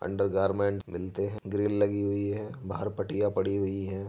Undergarment मिलते हैं grill लगी हुई है बाहर पटिया पड़ी हुई है।